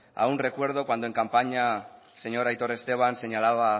aún recuerdo cuando en campaña el señor aitor esteban señalaba